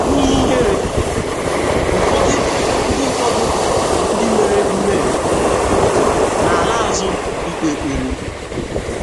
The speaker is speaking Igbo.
N’ihi ihere, ụfọdụ ndị ụfọdụ ndị mere mmehie na - ala azụ ikpe ekpere.